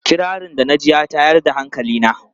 Kirarin da na ji ya tayar da hankali na.